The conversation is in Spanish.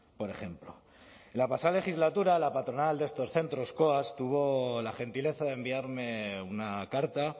por ejemplo en la pasada legislatura la patronal de estos centros coas tuvo la gentileza de enviarme una carta